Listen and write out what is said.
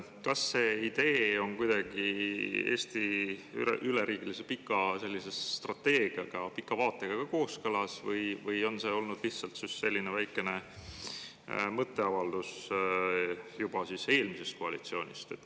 Kas see idee on kuidagi ka Eesti üleriigilise pika strateegiaga, pika vaatega kooskõlas või on see olnud lihtsalt selline väikene mõtteavaldus juba eelmisest koalitsioonist?